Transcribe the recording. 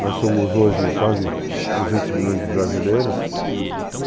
Nós somos hoje quase 200 milhões de brasileiros.